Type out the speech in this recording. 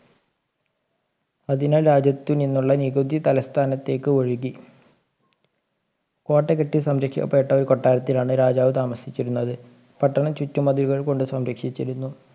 അതിനാൽ രാജ്യത്തിൽ നിന്നുള്ള നികുതി തലസ്ഥാനത്തേയ്ക്ക് ഒഴുകി കോട്ട കെട്ടി സംരക്ഷിക്കപ്പെട്ട ഒരു കൊട്ടാരത്തിലാണ് രാജാവ് താമസിച്ചിരുന്നത് പട്ടണം ചുറ്റുമതിലുകൾ കൊണ്ട് സംരക്ഷിച്ചിരുന്നു